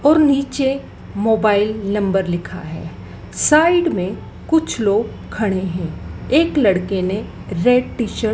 और नीचे mobile number लिखा है साइड में कुछ लोग खड़े हैं एक लड़के ने रेड टी शर्ट --